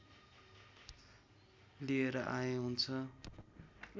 लिएर आए हुन्छ